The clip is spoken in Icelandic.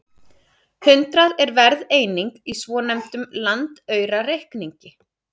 Hundrað er verðeining í svonefndum landaurareikningi.